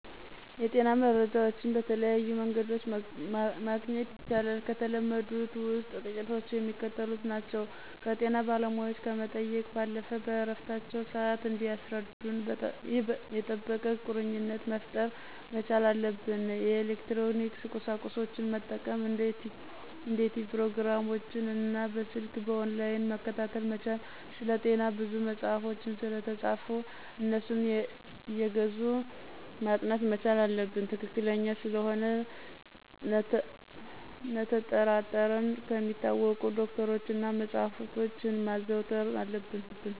የጤና መረጃዎችን በተለያዩ መንገዶችመግኘት ይቻላል። ከተለመዱት ውስጥ ጥቂቶቹ የሚከተሉት ናቸው። ፩) ከጤና ባለሙያዎች ከመጠየቅ ባለፈ በእረፍታቸው ስዓት እንዲያስረዱን የጠበቀ ቁርኝትነት መፍጠር መቻል አለብን። ፪) የኤሌክትሮኒክስ ቁሳቁሶችን መጠቀም እንደ ቲቭ ፕሮግራሞችን እና በሰልክ በኦንላይን መከታተል መቻል። ፫) ስለጤና ብዙ መጸሐፎች ስለተፃፉ አነሱን አየገዙ ማጥናት መቻል አለብን። ትክክለኛ ስለመሆኑ ነተጠራጠረን ከሚታወቁ ዶክተሮች እና መጸሐፍቶችን ማዘውተር አለብን።